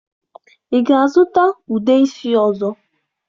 Ị ga-azụta ude isi ọzọ?